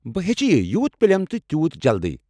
بہٕ ہیٚچھِ یہِ یوٗت پَلیم تہٕ تِیوٗت جلدی۔